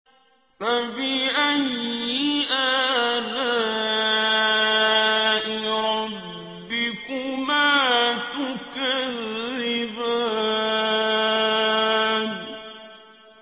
فَبِأَيِّ آلَاءِ رَبِّكُمَا تُكَذِّبَانِ